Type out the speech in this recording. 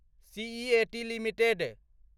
CEAT limited